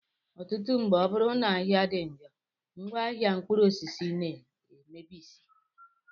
Ọtụtụ mgbe, ọ bụrụ na ahịa dị njọ, ngwaahịa mkpụrụosisi na-emebisị